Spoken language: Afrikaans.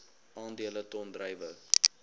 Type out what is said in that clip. aandele ton druiwe